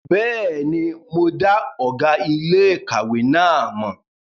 Bẹ́ẹ̀ni, mo dá ọ̀gá iléèkàwé náà mọ̀